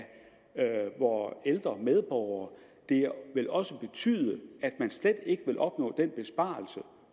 vore ældre medborgere det vil også betyde at man slet ikke vil opnå den besparelse